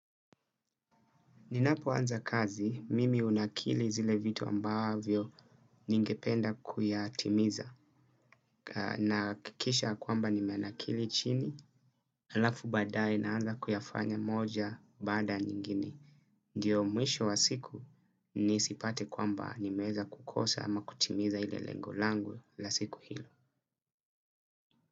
Ninapoanza kazi, mimi hunakili zile vitu ambavyo ningependa kuyatimiza. Nahakikisha kwamba nimenakili chini, halafu badaye naanza kuyafanya moja bada nyingine. Ndiyo mwisho wa siku nisipate kwamba nimeweza kukosa ama kutimiza ile lengo langu la siku hilo.